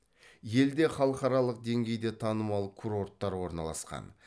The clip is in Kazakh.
елде халықараралық деңгейде танымал курорттар орналасқан